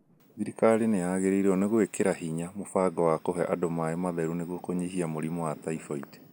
Thirikari nĩ yagĩrĩirũo nĩ gwĩkĩra hinya mũbango wa kũhe andũ maĩ matheru nĩguo kũnyihia mũrimũ wa typhoid.